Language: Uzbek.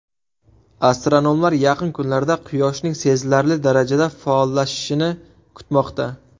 Astronomlar yaqin kunlarda Quyoshning sezilarli darajada faollashishini kutmoqda.